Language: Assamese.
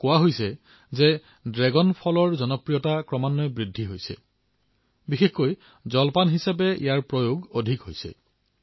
মোক কোৱা হৈছে যে ড্ৰেগন ফলৰ জনপ্ৰিয়তা ক্ৰমান্বয়ে বৃদ্ধি পাবলৈ ধৰিছে আৰু ৰাতিপুৱাৰ আহাৰত ইয়াক ব্যাপকভাৱে ব্যৱহাৰ কৰা হৈছে